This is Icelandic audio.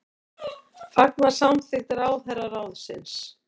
Fagna samþykkt ráðherraráðsins